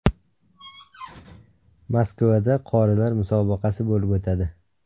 Moskvada qorilar musobaqasi bo‘lib o‘tadi.